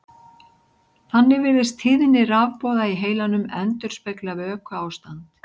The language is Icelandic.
Þannig virðist tíðni rafboða í heilanum endurspegla vökuástand.